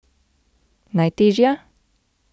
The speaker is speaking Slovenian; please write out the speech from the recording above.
Najtežja?